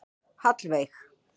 Hallveig